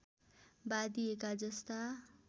बाँधिएका जस्ता